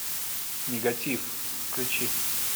негатив включи